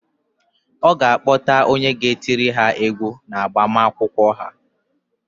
Ọ ga-akpọta onye ga-etiri ha égwú n' agbamakwụkwọ ha.